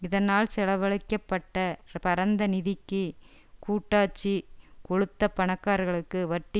இதனால் செலவழிக்க பட்ட பரந்த நிதிக்கு கூட்டாட்சி கொழுத்த பணக்காரர்களுக்கு வட்டி